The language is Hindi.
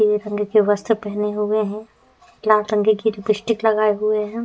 पीले रंग के वस्त्र पहने हुए हैं। लाल रंग की लिप्स्टिक लगाए हुए है।